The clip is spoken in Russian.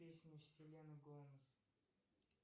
песни селены гомес